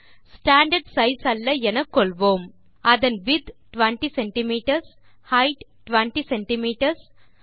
standard size அல்ல என கொள்வோம் அதன் விட்த் 20 சிஎம்எஸ் ஹெய்ட் 20 சிஎம்எஸ்